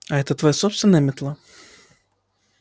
а это твоя собственная метла